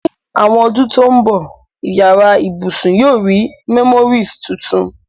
Ní àwon odún to n bo, yará ibùsùn yio ri memories tuntun